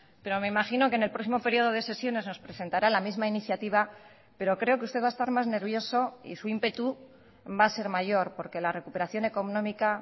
pero me imagino que en el próximo periodo de sesiones nos presentará la misma iniciativa pero creo que usted va a estar más nervioso y su ímpetu va a ser mayor porque la recuperación económica